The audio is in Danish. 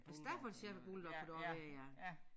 Staffordshire bulldog kunne det også være ja